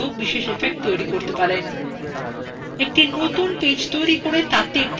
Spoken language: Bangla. একটি নতুন পেজ তৈরী করে তাতে একটি আয়তক্ষেত্র আঁকা যাক